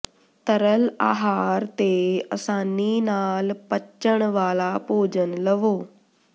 ਤਰਲ ਆਹਾਰ ਤੇ ਅਸਾਨੀ ਨਾਲ ਪੱਚਣ ਵਾਲਾ ਭੋਜਨ ਲਵੋ